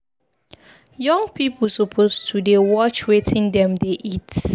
Young people suppose to dey watch wetin dem dey eat.